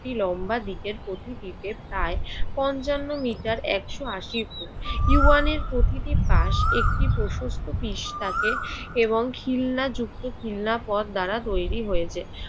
কি লম্বা পঞ্চান্ন মিটার একশ আশি ফুট। ইউয়ানের প্রকৃতি পাশ একটি প্রশস্ত পিচ থাকে এবং খিলনাযুক্ত খিলনা পথ দ্বারা তৈরি হয়েছে।